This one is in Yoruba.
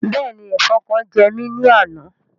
Bẹ́ẹ̀ni, Ẹfọn kan jẹ́ mi ni àna